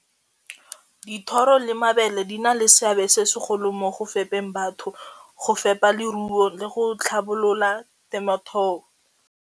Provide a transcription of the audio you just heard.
Dithoro le mabele di na le seabe se segolo mo go fepeng batho, go fepa leruo le go tlhabolola .